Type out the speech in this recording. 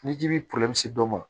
Ni ji bɛ dɔ ma